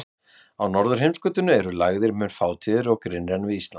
Á norðurheimskautinu eru lægðir mun fátíðari og grynnri en við Ísland.